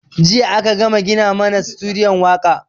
Jiya a ka gama gina mana sutudiyo waƙa